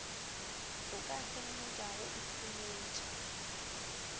o ka feleletšago o hloletše